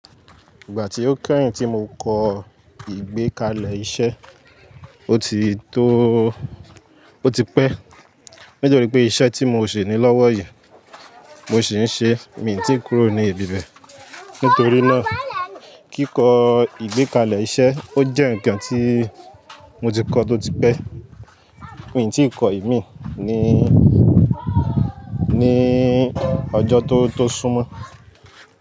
Ìgbà tí ó kẹ́yìn tí mo kọ ìgbékalẹ̀ iṣẹ́, ó ti tóóó, ó ti pẹ́. Nítorí pé iṣẹ́ tí mo ò ṣe ní lọ́wọ́ yìí mo sì ń ṣe, mi ò tíì kúrò ní ibi bẹ̀. Nítorí náà kíkọ ìgbékalẹ̀ iṣẹ́ ó jẹ́ ǹkan tí mo ti kọ tó ti pẹ́. Mi n tíì kọ ìmíì níí, níí ọjọ́ tó, tó súnmọ́